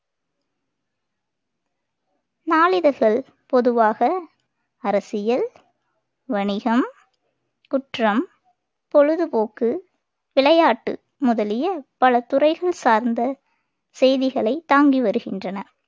நாளிதழ்கள் பொதுவாக அரசியல் வணிகம் குற்றம் பொழுதுபோக்கு விளையாட்டு முதலிய பல துறைகள் சார்ந்த செய்திகளை தாங்கி வருகின்றன